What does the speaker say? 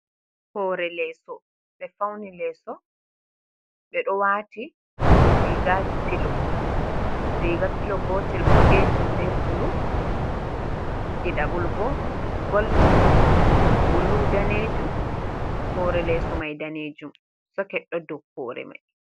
Hoore leeso ɓe fauni leeso, ɓe ɗo waati rigaji pilo, riga pilo gotel boɗejum be bulu, ɗiɗabol bo goldin, bulu, danejum, hoore leeso mai danejum soket ɗo dou hoore mai.